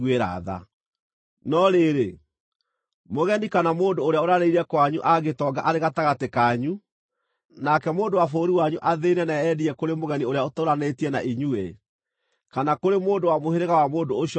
“ ‘No rĩrĩ, mũgeni kana mũndũ ũrĩa ũrarĩrĩire kwanyu angĩtonga arĩ gatagatĩ kanyu, nake mũndũ wa bũrũri wanyu athĩĩne na eyendie kũrĩ mũgeni ũrĩa ũtũũranĩtie na inyuĩ, kana kũrĩ mũndũ wa mũhĩrĩga wa mũndũ ũcio mũgeni-rĩ,